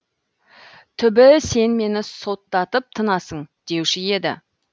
түбі сен мені соттатып тынасың деуші еді